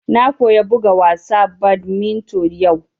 Na koya buga wasa badminton yau